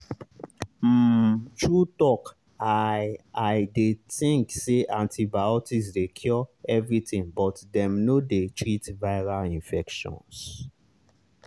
umtrue talk i i dey think say antibiotics dey cure everything but dem no dey treat viral infections.